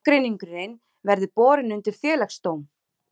Ágreiningurinn verði borin undir félagsdóm